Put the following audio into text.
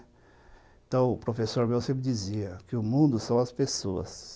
Então, o professor meu sempre dizia que o mundo são as pessoas.